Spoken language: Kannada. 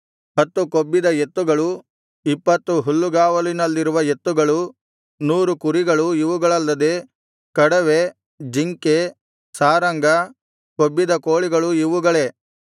ಹತ್ತು ಕೊಬ್ಬಿದ ಎತ್ತುಗಳು ಇಪ್ಪತ್ತು ಹುಲ್ಲುಗಾವಲಿನಲ್ಲಿರುವ ಎತ್ತುಗಳು ನೂರು ಕುರಿಗಳು ಇವುಗಳಲ್ಲದೆ ಕಡವೆ ಜಿಂಕೆ ಸಾರಂಗ ಕೊಬ್ಬಿದ ಕೋಳಿಗಳು ಇವುಗಳೇ